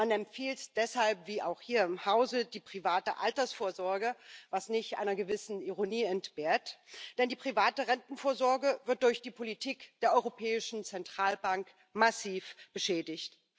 Man empfiehlt deshalb wie auch hier im Hause die private Altersvorsorge, was nicht einer gewissen Ironie entbehrt, denn die private Rentenvorsorge wird durch die Politik der Europäischen Zentralbank massiv beschädigt.